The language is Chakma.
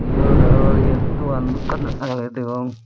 eyot aro eyat dogan akken agey de degong.